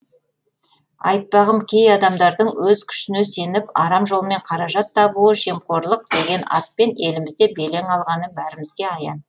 айтпағым кей адамдардың өз күшіне сеніп арам жолмен қаражат табуы жемқорлық деген атпен елімізде белең алғаны бәрімізге аян